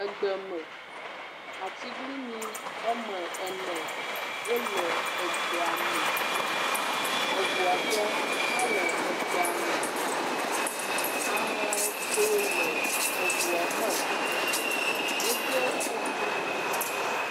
Egbe me, atiglinyi woame ene wole egbea me, eŋu aɖe hã le egbea me, ame ɖewo le eŋuame, woɖo kuku.